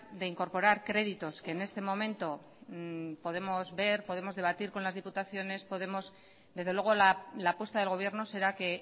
de incorporar créditos que en este momento podemos ver podemos debatir con las diputaciones desde luego la apuesta del gobierno será que